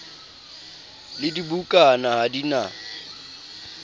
le dibukana ha di na